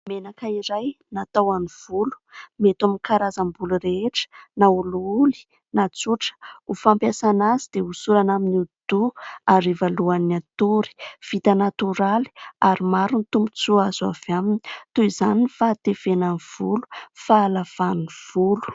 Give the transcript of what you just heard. Menaka iray natao ho an'ny volo. Mety amin'ny karazam-bolo rehetra na olioly na tsotra. Ho fampiasana azy dia hosorana amin'ny hodi-doha hariva alohan'ny hatory. Vita natoraly ary maro ny tombontsoa azo avy aminy, toy izany ny fahatevenan'ny volo, fahalavan'ny volo.